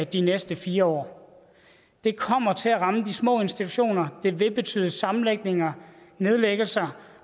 de næste fire år det kommer til at ramme de små institutioner det vil betyde sammenlægninger nedlæggelser